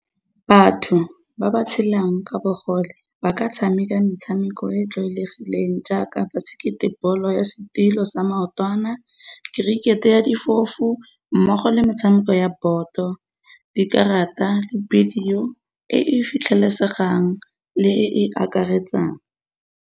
Batho ba ba tshelang ka bogole ba ka tshameka metshameko e tlwaelegileng jaaka basekete ball-o ya setilo sa maotwana, kerikete ya difofu mmogo le metshameko ya boto, dikarata le bidio e e fitlhelesegang le e e akaretsang.